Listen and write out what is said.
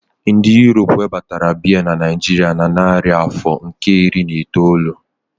Ndị Europe webatara Beer na Naijiria na narị afọ nke iri na itoolu